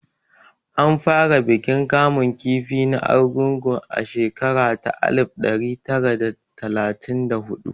An fara bikin kamun kifi na Argungu a shekara ta alif ɗari tari da talatin da huɗu